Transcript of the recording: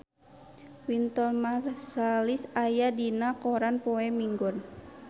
Wynton Marsalis aya dina koran poe Minggon